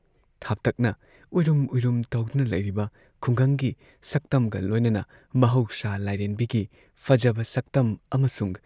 ꯊꯥꯞꯇꯛꯅ ꯎꯏꯔꯨꯝ ꯎꯏꯔꯨꯝ ꯇꯧꯗꯨꯅ ꯂꯩꯔꯤꯕ ꯈꯨꯡꯒꯪꯒꯤ ꯁꯛꯇꯝꯒ ꯂꯣꯏꯅꯅ ꯃꯍꯧꯁꯥ ꯂꯥꯏꯔꯦꯝꯕꯤꯒꯤ ꯐꯖꯕ ꯁꯛꯇꯝ ꯑꯃꯁꯨꯡ